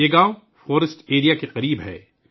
یہ گاؤں جنگل علاقے کے قریب ہے